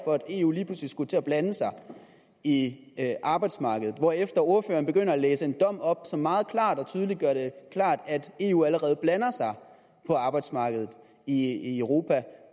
for at eu lige pludselig skulle til at blande sig i arbejdsmarkedet hvorefter ordføreren begynder at læse en dom op som meget klart og tydeligt gør det klart at eu allerede blander sig på arbejdsmarkedet i europa